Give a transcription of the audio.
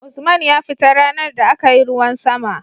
Usman ya fita ranar da akayi ruwan sama